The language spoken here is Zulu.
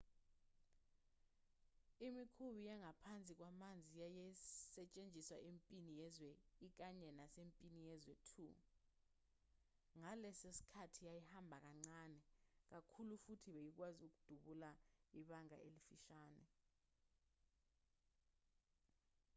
imikhumbi yangaphansi kwamanzi yayisetshenziswa empini yezwe i kanye nasempini yezwe ii ngaleso sikhathi yayihamba kancane kakhulu futhi beyikwazi ukudubula ibanga elifishane